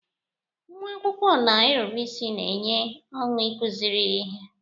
Nnwa akwụkwọ na-erube isi na-enye ọṅụ ịkụziri ihe.